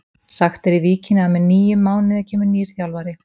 Sagt er í Víkinni að með nýjum mánuði kemur nýr þjálfari.